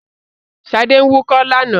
Ṣadé ń wúkọ́ lánàá.